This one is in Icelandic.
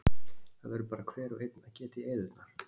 Það verður bara hver og einn að geta í eyðurnar.